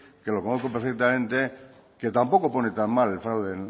que lo conozco perfectamente que tampoco pone tan mal el fraude